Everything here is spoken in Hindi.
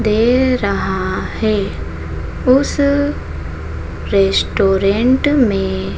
दे रहा है उस रेस्टोरेंट में--